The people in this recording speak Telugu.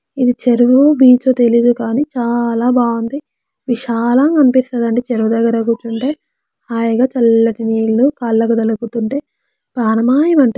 ఇది చెరువు బీచ్ ఓ తెలియదు కానీ చాలా బాగుంది విశాలంగా అనిపిస్తుందని చెరువు దగ్గర కూర్చుంటే హాయిగా చల్లడిల్లు కాళ్లకు తగులుతుంటే పానం హై మంటుంది.